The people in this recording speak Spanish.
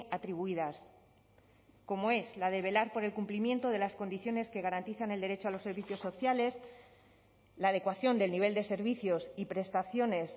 atribuidas como es la de velar por el cumplimiento de las condiciones que garantizan el derecho a los servicios sociales la adecuación del nivel de servicios y prestaciones